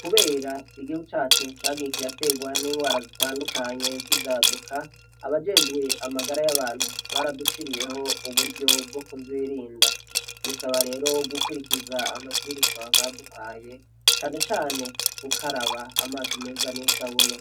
Kubera igihu cacu cagiye kirategwa n'ingwara zitandukanye z'ivyaduka abajejwe amagara y'abantu baradushiriyeho uburyo bwo kuzirinda bisaba rero wo gukwirikiza amavwirizwa baduhaye canecane ukaraba amazi meza n'isabune